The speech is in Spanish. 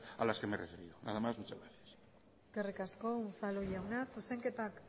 a las que me refiero nada más muchas gracias eskerrik asko unzalu jauna